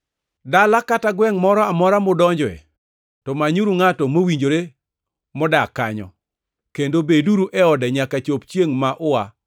“Dala kata gwengʼ moro amora mudonje to manyuru ngʼato mowinjore modak kanyo, kendo beduru e ode nyaka chop chiengʼ ma ua.